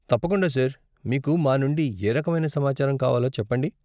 తప్పకుండా సార్! మీకు మా నుండి ఏ రకమైన సమాచారం కావాలో చెప్పండి.